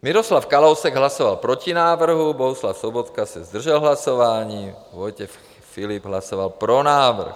Miroslav Kalousek hlasoval proti návrhu, Bohuslav Sobotka se zdržel hlasování, Vojtěch Filip hlasoval pro návrh.